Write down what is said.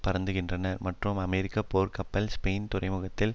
பறந்திருக்கின்றன மற்றும் அமெரிக்க போர்கப்பல்கள் ஸ்பெயின் துறைமுகங்களில்